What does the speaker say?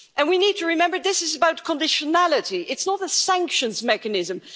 And we need to remember that this is about conditionality, it's not a sanctions mechanism.